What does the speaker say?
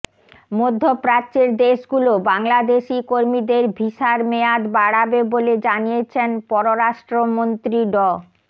মধ্যপ্রাচ্যের দেশগুলো বাংলাদেশি কর্মীদের ভিসার মেয়াদ বাড়াবে বলে জানিয়েছেন পররাষ্ট্রমন্ত্রী ড